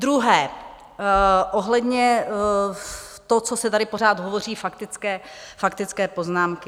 Druhé - ohledně toho, co se tady pořád hovoří - faktické poznámky.